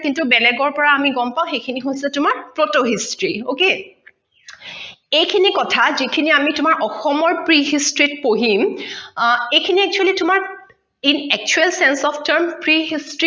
কিন্তু বেলেগৰ পৰা গম পাও সেই খিনি হৈছে তোমাৰ proto history okay এই খিনি কথা যিখিনি আমি তোমাৰ অসমৰ pre history ত পঢ়িম আহ এই খিনি actually তোমাৰ in actual since of term pre history